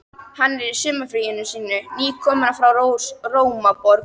Hann er í sumarfríinu sínu, nýkominn frá Rómaborg.